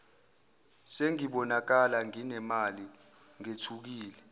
sengibonakala nginemali ngethukile